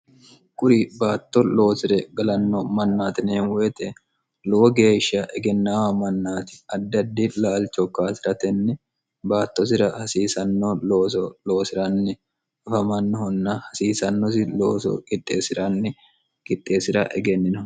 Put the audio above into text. Kuri baatto loosire galanno mannaati yineemo woyite lowo geeshsha egennaamo mannaati addi addi laal cho kaasiratenni baattosira hasiisanno looso loosiranni afamannohunna hasiisannosi looso qixxeesi'ranni gixxeesi'ra egennino